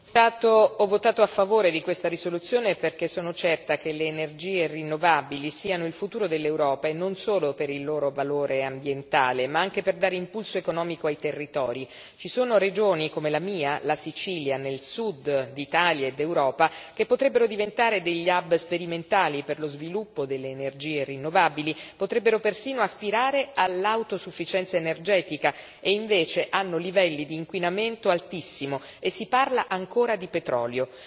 Signor Presidente, onorevoli colleghi, ho votato a favore di questa risoluzione perché sono certa che le energie rinnovabili siano il futuro dell'Europa, non solo per il loro valore ambientale ma anche per dare impulso economico ai territori. Ci sono regioni, come la mia, la Sicilia, nel Sud d'Italia e d'Europa, che potrebbero diventare degli hub sperimentali per lo sviluppo delle energie rinnovabili e potrebbero persino aspirare all'autosufficienza energetica e invece hanno livelli di inquinamento altissimo e si parla ancora di petrolio.